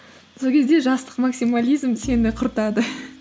сол кезде жастық максимализм сені құртады